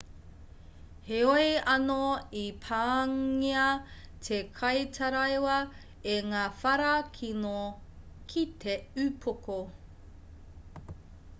heoi anō i pāngia te kaitaraiwa e ngā whara kino ki te upoko